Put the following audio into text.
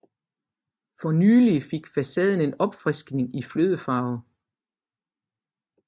For nylig fik facaden en opfriskning i flødefarve